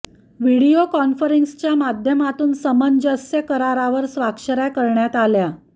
video कॉन्फरन्सिंगच्या माध्यमातून सामंजस्य करारावर स्वाक्षऱ्या करण्यात आल्या